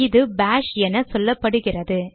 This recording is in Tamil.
இது பாஷ் என சொல்லப்படுகிறது